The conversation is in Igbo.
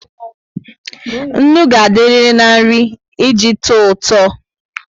Ńnú ga adiriri na nri eji touto